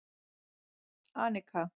Anika